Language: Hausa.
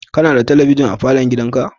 Kana da talabijin a falon gidanka?